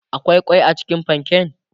akwai kwai cikin panken?